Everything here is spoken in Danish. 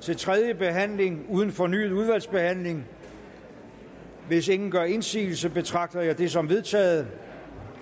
til tredje behandling uden fornyet udvalgsbehandling hvis ingen gør indsigelse betragter jeg det som vedtaget